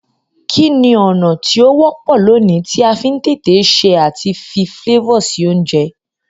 Kíni ọ̀nà ti o wọ́pọ̀ loní ti a fi n tètè se àti fi flavor si ounje